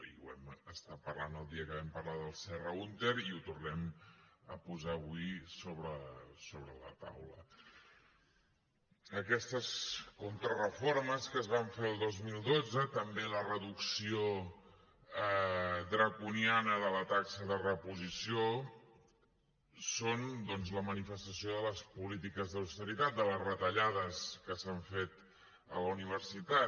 i ho vam estar parlant el dia que vam parlar del serra húnter i ho tornem a posar avui sobre la taula aquestes contrareformes que es van fer el dos mil dotze i també la reducció draconiana de la taxa de reposició són doncs la manifestació de les polítiques d’austeritat de les retallades que s’han fet a la universitat